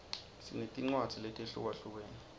sinetincwadzi letehlukahlukene